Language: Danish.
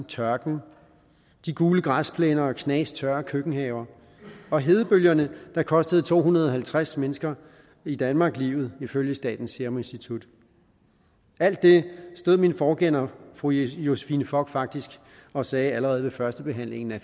tørken de gule græsplæner og knastørre køkkenhaver og hedebølgerne der kostede to hundrede og halvtreds mennesker i danmark livet ifølge statens serum institut alt det stod min forgænger fru josephine fock faktisk og sagde allerede ved førstebehandlingen af